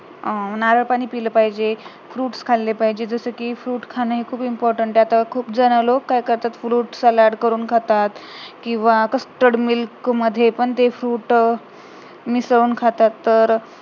नारळ पाणी पिलं पाहिजे fruits खाल्ले पाहिजे जसेकी fruit खान खूप important आहे आता खूप जण लोक काय करतात fruit salad करून खातात किंवा custord milk मध्ये पण ते fruit मिसडुन खातात तर